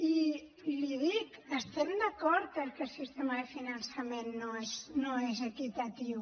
i l’hi dic estem d’acord que el sistema de finançament no és equitatiu